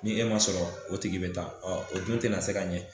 Ni e ma sɔrɔ o tigi be taa o dun tɛna se ka ɲɛ